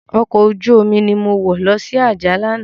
Òkò ójùómi ni mó wò lòsi Ajah làná